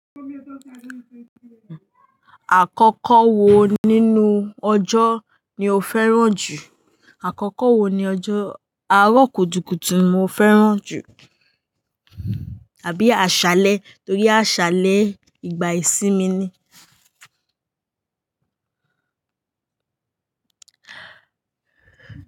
Àkọ́kọ́ wo nínú ọjọ́ ni o fẹ́ràn jù? Àkọ́kọ́ wo ni ọjọ́ àárọ̀ kùtùkùtù mo fẹ́ràn jù àbí àṣálẹ́ torí àṣálẹ́ ìgbà ìsinmi ni.